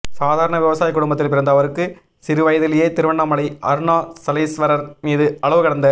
சாதாரண விவசாயக் குடும்பத்தில் பிறந்த அவருக்கு சிறு வயதிலேயே திருவண்ணாமலை அருணாசலேஸ்வரர் மீது அளவு கடந்த